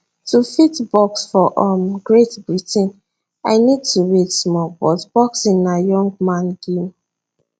to fit box for um great britain i need to wait small but boxing na young man game